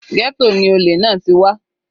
Ghetto ni olè náà ti wá.